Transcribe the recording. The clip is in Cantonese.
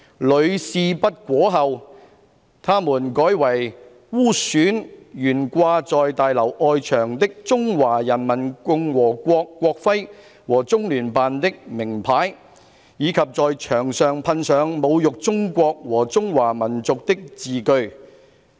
屢試不果後，他們改為污損懸掛在大樓外牆的中華人民共和國國徽和中聯辦的名牌，以及在牆上噴上侮辱中國和中華民族的字句。